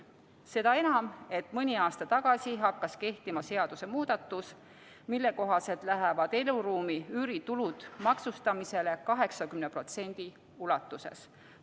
Seda enam, et mõni aasta tagasi hakkas kehtima seadusmuudatus, mille kohaselt lähevad eluruumi üüri tulud maksustamisele 80% ulatuses.